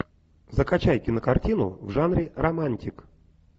закачай кинокартину в жанре романтик